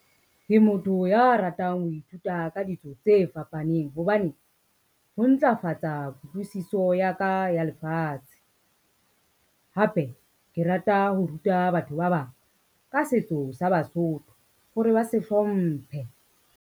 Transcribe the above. Ke motho ya ratang ho ithuta ka ditso tse fapaneng hobane, ho ntlafatsa kutlwisiso ya ka ya lefatshe. Hape ke rata ho ruta batho ba bang ka setso sa Basotho hore ba se hlomphe.